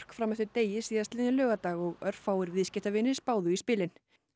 fram eftir degi síðastliðinn laugardag og örfáir viðskiptavinir spáðu í spilin